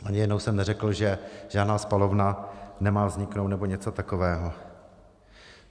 Ani jednou jsem neřekl, že žádná spalovna nemá vzniknout, nebo něco takového.